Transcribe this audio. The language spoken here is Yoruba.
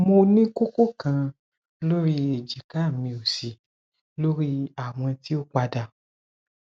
mo ni koko kan lori ejika mi osi lori awọn ti o pada